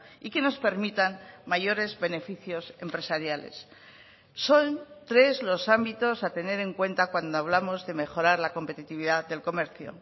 y que nos permitan mayores beneficios empresariales son tres los ámbitos a tener en cuenta cuando hablamos de mejorar la competitividad del comercio